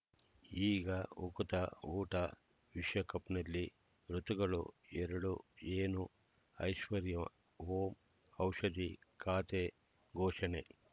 ಈಗ ಉಕುತ ಊಟ ವಿಶ್ವಕಪ್‌ನಲ್ಲಿ ಋತುಗಳು ಎರಡು ಏನು ಐಶ್ವರ್ಯಾ ಓಂ ಔಷಧಿ ಖಾತೆ ಘೋಷಣೆ